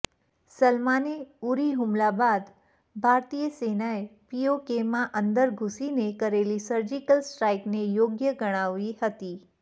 સલમાને ઉરી હુમલા બાદ ભારતીય સેનાએ પીઓકેમાં અંદર ઘૂસીને કરેલી સર્જિકલ સ્ટ્રાઇકને યોગ્ય ગણાવી હતી